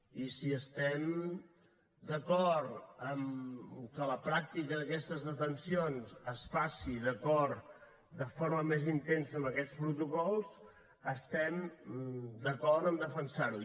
i si estem d’acord que la pràctica d’aquestes detencions es faci de forma més intensa amb aquests protocols estem d’acord a defensar ho